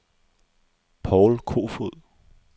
Povl Koefoed